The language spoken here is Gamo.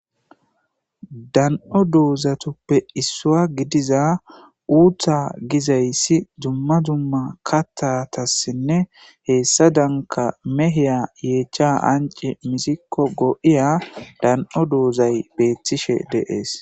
Dan7o doozatuppe issua gidiza uutta gizayssi dzumma dumma kattatassinne heessa danka meheya yeecha ance misikko go7iya dan7o doozay beettishe deees.